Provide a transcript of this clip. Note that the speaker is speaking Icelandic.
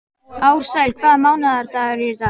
Ársæl, hvaða mánaðardagur er í dag?